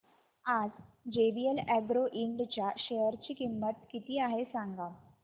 आज JVL agro ind च्या share ची किंमत किती आहे सांगा